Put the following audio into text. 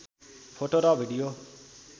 photo र video